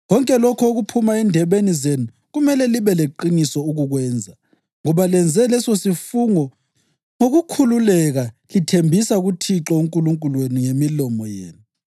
Konke lokho okuphuma endebeni zenu kumele libe leqiniso ukukwenza, ngoba lenze lesosifungo ngokukhululeka lithembisa kuThixo uNkulunkulu wenu ngemilomo yenu.